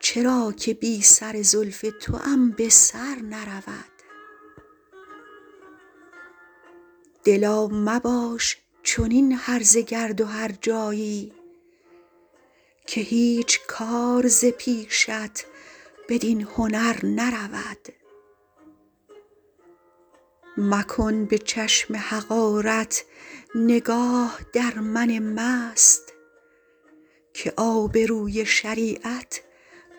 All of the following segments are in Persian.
چرا که بی سر زلف توام به سر نرود دلا مباش چنین هرزه گرد و هرجایی که هیچ کار ز پیشت بدین هنر نرود مکن به چشم حقارت نگاه در من مست که آبروی شریعت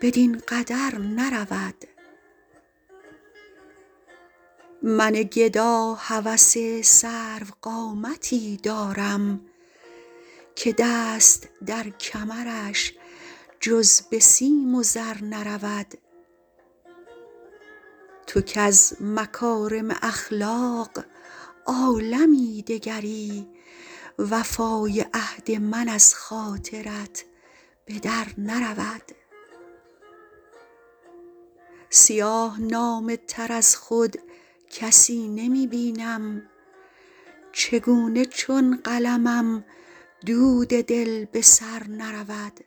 بدین قدر نرود من گدا هوس سروقامتی دارم که دست در کمرش جز به سیم و زر نرود تو کز مکارم اخلاق عالمی دگری وفای عهد من از خاطرت به در نرود سیاه نامه تر از خود کسی نمی بینم چگونه چون قلمم دود دل به سر نرود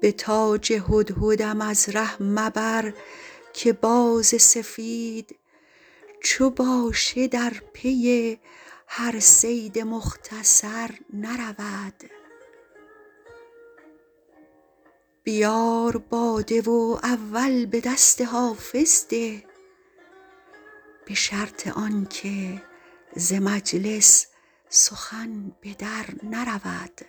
به تاج هدهدم از ره مبر که باز سفید چو باشه در پی هر صید مختصر نرود بیار باده و اول به دست حافظ ده به شرط آن که ز مجلس سخن به در نرود